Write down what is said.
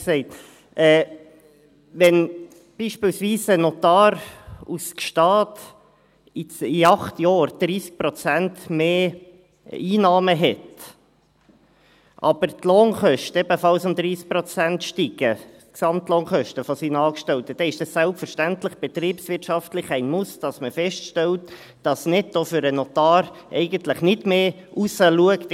Wenn beispielsweise ein Notar aus Gstaad in acht Jahren 30 Prozent mehr Einnahmen hat, aber die Gesamtlohnkosten seiner Angestellten ebenfalls um 30 Prozent steigen, dann ist es selbstverständlich betriebswirtschaftlich ein Muss, dass man feststellt, dass netto für den Notar eigentlich nicht mehr herausschaut.